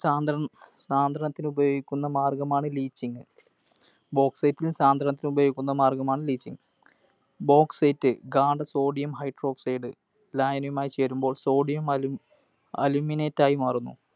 സാന്ദ്രണ സാന്ദ്രണത്തിന് ഉപയോഗിക്കുന്ന മാർഗ്ഗമാണ് Leaching. Bauxite ൽ സാന്ദ്രണത്തിന് ഉപയോഗിക്കുന്ന മാർഗ്ഗമാണ് leaching. Bauxite, ഗാഢ Sodium Hydroxide ലായനിയുമായി ചേരുമ്പോൾ Sodium Aluminate ആയി മാറുന്നു.